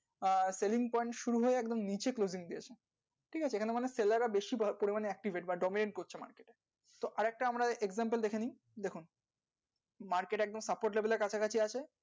আর selling point নিচে ঠিক আছে seller রা বেশি দরকার হলে accurate মানে domain, specific আরেকটা আমরা ঠিক আছে market এমনি চক্কর দিয়ে কাছাকাছি আছে ।